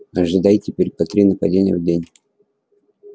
ожидай теперь по три нападения в день